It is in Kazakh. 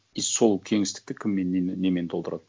и сол кеңістікті кіммен немен толтырады